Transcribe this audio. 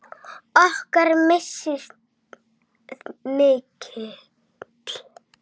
Okkar missir er mikill.